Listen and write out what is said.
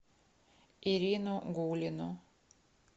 ирину гулину